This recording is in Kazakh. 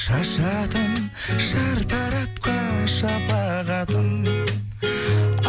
шашыратын шартарапқа шапағатын